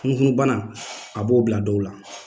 Funufunubana a b'o bila dɔw la.